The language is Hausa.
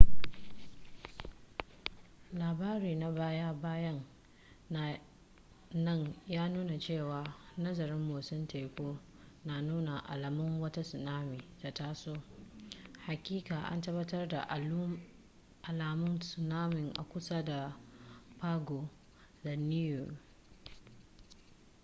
labari na baya bayan nan ya nuna cewa nazarin motsin teku na nuna alamun wata tsunami ta taso hakika an tabbatar da alamun tsunami a kusa da pago da niue